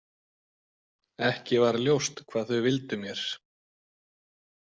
Ekki var ljóst hvað þau vildu mér.